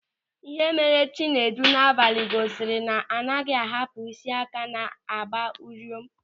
Ịhe mere Chinedu n'abalị gosiri na anaghị ahapụ ị́sị́ áká na-gba ụriom.